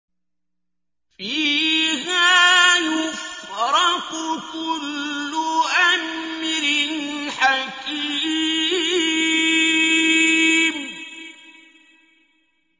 فِيهَا يُفْرَقُ كُلُّ أَمْرٍ حَكِيمٍ